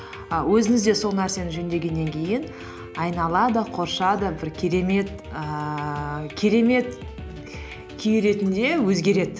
і өзіңізде сол нәрсені жөндегеннен кейін айнала да да бір керемет ііі керемет күй ретінде өзгереді